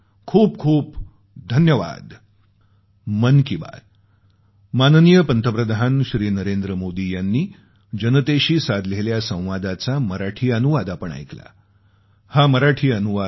खूपखूप धन्यवाद